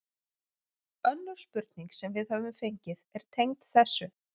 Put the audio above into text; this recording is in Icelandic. Önnur spurning sem við höfum fengið er tengd þessu: